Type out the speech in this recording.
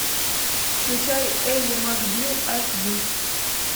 включай элли макбил аш ди